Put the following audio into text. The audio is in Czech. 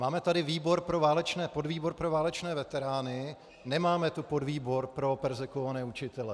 Máme tady podvýbor pro válečné veterány, nemáme tu podvýbor pro perzekvované učitele.